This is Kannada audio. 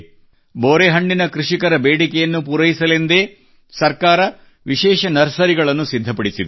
ಬೋರೆಹಣ್ಣಿನ ಕೃಷಿಕರ ಬೇಡಿಕೆಯನ್ನು ಪೂರೈಸಲೆಂದೇ ಸರ್ಕಾರ ಇದಕ್ಕೆಂದೇ ವಿಶೇಷ ನರ್ಸರಿಗಳನ್ನು ಸಿದ್ಧಪಡಿಸಿದೆ